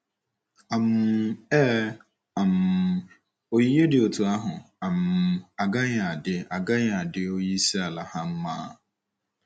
um Ee, um onyinye dị otú ahụ um agaghị adị agaghị adị onyeisi ala ha mma.